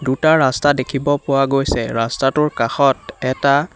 দুটা ৰাস্তা দেখিব পোৱা গৈছে ৰাস্তাটোৰ কাষত এটা--